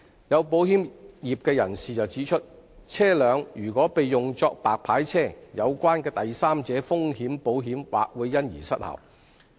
有保險業人士指出，車輛如被用作白牌車，有關的第三者風險保險或會因而失效。